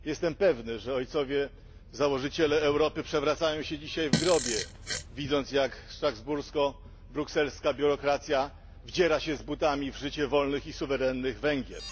Jestem pewny, że ojcowie założyciele Europy przewracają się dzisiaj w grobie, widząc, jak strasbursko brukselska biurokracja wdziera się z butami w życie wolnych i suwerennych Węgrów.